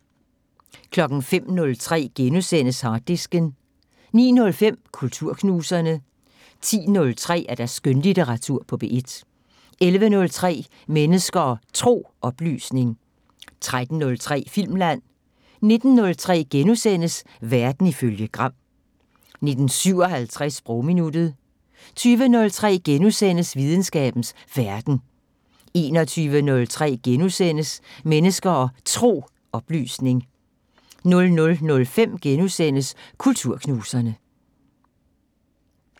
05:03: Harddisken * 09:05: Kulturknuserne 10:03: Skønlitteratur på P1 11:03: Mennesker og Tro: Oplysning 13:03: Filmland 19:03: Verden ifølge Gram * 19:57: Sprogminuttet 20:03: Videnskabens Verden * 21:03: Mennesker og Tro: Oplysning * 00:05: Kulturknuserne *